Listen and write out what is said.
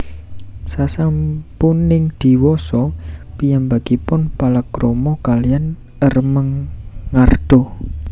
Sasampuning diwasa piyambakipun palakrama kaliyan Ermengarda